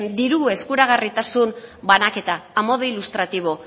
diru eskuragarritasun banaketa a modo ilustrativo